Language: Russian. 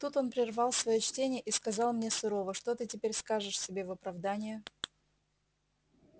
тут он прервал своё чтение и сказал мне сурово что ты теперь скажешь себе в оправдание